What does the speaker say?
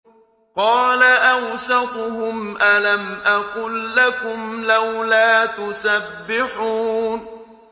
قَالَ أَوْسَطُهُمْ أَلَمْ أَقُل لَّكُمْ لَوْلَا تُسَبِّحُونَ